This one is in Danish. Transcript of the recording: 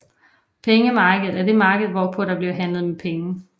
Pengemarkedet er det marked hvorpå der bliver handlet med penge